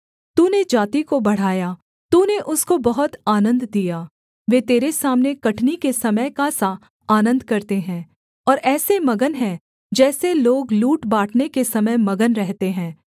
तूने जाति को बढ़ाया तूने उसको बहुत आनन्द दिया वे तेरे सामने कटनी के समय का सा आनन्द करते हैं और ऐसे मगन हैं जैसे लोग लूट बाँटने के समय मगन रहते हैं